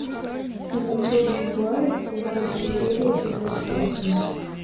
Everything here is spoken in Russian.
изумрудный город сезон четыре эпизод восемь